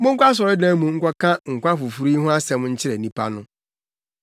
“Monkɔ asɔredan mu nkɔka nkwa foforo yi ho asɛm nkyerɛ nnipa no.”